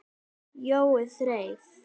Jói þreif